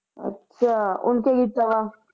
ਅੱਛਾ ਓਨ ਕਿ ਕੀਤਾ ਵਾ